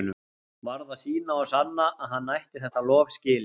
Varð að sýna og sanna að hann ætti þetta lof skilið.